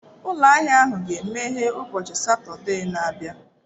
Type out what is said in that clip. Ụlọ ahịa ahụ ga-emeghe ụbọchị Satọde na-abịa.